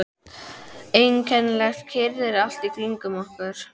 Einkennileg kyrrð er allt í kringum okkur.